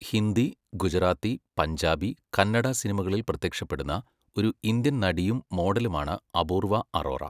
ഹിന്ദി, ഗുജറാത്തി, പഞ്ചാബി, കന്നഡ സിനിമകളിൽ പ്രത്യക്ഷപ്പെടുന്ന ഒരു ഇന്ത്യൻ നടിയും മോഡലുമാണ് അപൂർവ അറോറ.